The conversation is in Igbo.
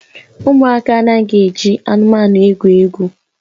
Ụmụaka anaghị eji anụmanụ egwu egwu